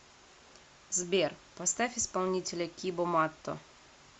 сбер поставь исполнителя кибо матто